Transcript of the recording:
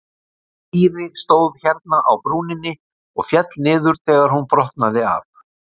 Týri stóð hérna á brúninni og féll niður þegar hún brotnaði af.